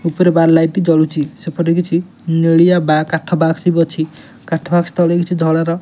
ଉପରେ bar light ଜଳୁଚି। ସେପଟେ କିଛି ନେଳିଆ ବା କାଠ ବାକ୍ସ ବି ଅଛି। କାଠ ବାକ୍ସ ତଳେ ତଳେ କିଛି ଧଳାର --